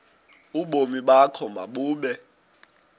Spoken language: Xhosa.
ubomi bakho mabube